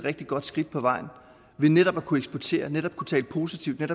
rigtig godt skridt på vejen ved netop at kunne eksportere ved netop at kunne tale positivt ved